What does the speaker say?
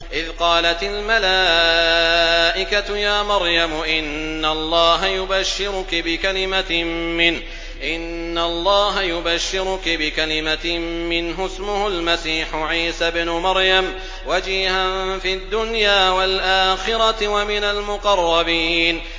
إِذْ قَالَتِ الْمَلَائِكَةُ يَا مَرْيَمُ إِنَّ اللَّهَ يُبَشِّرُكِ بِكَلِمَةٍ مِّنْهُ اسْمُهُ الْمَسِيحُ عِيسَى ابْنُ مَرْيَمَ وَجِيهًا فِي الدُّنْيَا وَالْآخِرَةِ وَمِنَ الْمُقَرَّبِينَ